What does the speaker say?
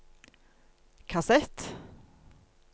kassett